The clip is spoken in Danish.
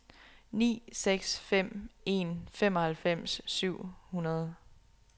ni seks fem en femoghalvfems syv hundrede